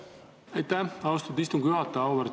Aitäh, austatud istungi juhataja!